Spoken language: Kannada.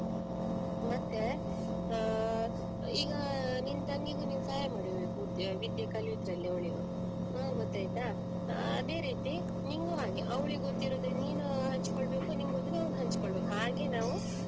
ಮತ್ತೆ ಆಹ್ ಈಗ ನಿನ್ ತಂಗಿಗೂ ನೀನ್ ಸಹಾಯ ಮಾಡ್ಬೇಕು ವಿದ್ಯೆ ಕಲಿಯುದ್ರಲ್ಲಿ ಅವ್ಳಿಗು ಹ್ಮ್‌ ಗೊತ್ತಾಯ್ತ ಅದೇ ರೀತಿ ನಿನ್ಗು ಹಾಗೆ ಅವ್ಳಿಗ್ ಗೊತ್ತಿರೋದು ನೀನು ಹಂಚ್ಕೋಬೇಕು ನಿಂಗ್ ಗೊತ್ತಿರೋದು ಅವನ್ ಹಂಚ್ಕೋಬೇಕು ಹಾಗೆ ನಾವು.